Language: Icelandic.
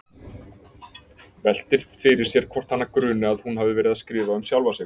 Veltir fyrir sér hvort hana gruni að hún hafi verið að skrifa um sjálfa sig.